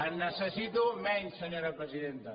en necessito menys senyora presidenta